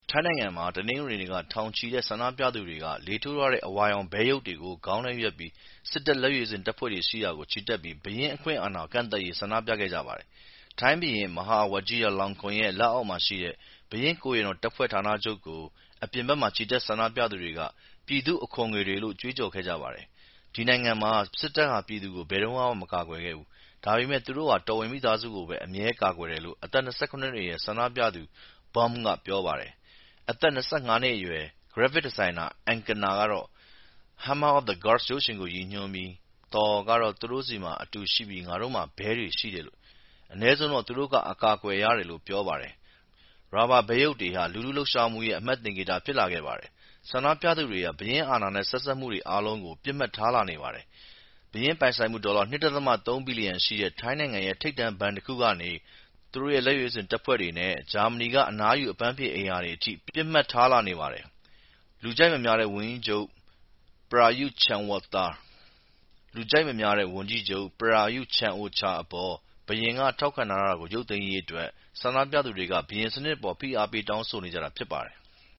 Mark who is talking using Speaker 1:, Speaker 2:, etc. Speaker 1: ထိုင်းနိုင်ငံမှာ တနင်္ဂနွေနေ့က ထောင်နဲ့ချီတဲ့ ဆန္ဒပြသူတွေက လေထိုးထားတဲ့ အဝါရောင် ဘဲရုပ်တွေကို ခေါင်းနဲ့ရွက်ပြီး စစ်တပ် လက်ရွေးစင်တပ်ဖွဲ့ရှိရာကို ချီတက်ပြီး ဘုရင့်အခွင့်အာဏာ ကန့်သတ်ရေး ဆန္ဒပြကြပါတယ်။ ထိုင်းဘုရင် Maha Vajiralongkorn ရဲ့ လက်အောက်မှာရှိတဲ့ ဘုရင့်ကိုယ်ရံတော်တပ်ဖွဲ့ ဌာနချုပ် အပြင်ဘက်မှာ ချီတက် ဆန္ဒပြသူတွေက ပြည်သူ့အခွန်ငွေတွေလို့ ကြွေးကြော်ခဲ့ကြပါတယ်။ “ဒီနိုင်ငံမှာ စစ်တပ်ဟာ ပြည်သူကို ဘယ်တုန်းကမှ မကာကွယ်ခဲ့ဘူး၊ ဒါပေမယ့် သူတို့ဟာ တော်ဝင်မိသားစုကိုပဲ အမြဲကာကွယ်တယ်” လို့ အသက် ၂၇ နှစ်အရွယ် ဆန္ဒပြသူ Bom က ပြောပါတယ်။ အသက် ၂၅ နှစ်အရွယ် ဂရပ်ဖစ်ဒီဇိုင်နာ Angkana ကတော့ Hammer of the Gods ရုပ်ရှင်ကို ရည်ညွှန်းပြီး Thor ကတော့ သူ့တို့မှာ တူရှိပြီး ငါတို့မှာ ဘဲတွေရှိတယ်၊ အနည်းဆုံးတော့ သူတို့က အကာအကွယ်ရတယ်လို့ ပြောပါတယ်။ ရာဘာဘဲရုပ်တွေဟာ လူထုလှုပ်ရှားမှုရဲ့ အမှတ်သင်္ကေတ ဖြစ်လာခဲ့ပါတယ်။ ဆန္ဒပြသူတွေဟာ ဘုရင့်အာဏာနဲ့ ဆက်စပ်မှုတွေ အားလုံးကို ပစ်မှတ်ထားလာနေပါတယ်။ ဘုရင့်ပိုင်ဆိုင်မှု ဒေါ်လာ ၂ ဒသမ ၃ ဘီလျံရှိတဲ့ ထိုင်းနိုင်ငံရဲ့ ထိပ်တန်းဘဏ်တခုကနေ သူ့ရဲ့ လက်ရွေးစင်တပ်ဖွဲ့တွေနဲ့ ဂျာမနီက အနားယူ အပန်းဖြေအိမ်ရာတွေအထိ ပစ်မှတ်ထားလာနေပါတယ်။ လူကြိုက်မများတဲ့ ဝန်ကြီးချုပ် Prayuth Chan-O-Cha အပေါ် ဘုရင်က ထောက်ခံထားတာကို ရုပ်သိမ်းရေးအတွက် ဆန္ဒပြသူတွေက ဘုရင်စနစ်အပေါ် ဖိအားပေး တောင်းဆိုနေကြတာ ဖြစ်ပါတယ်။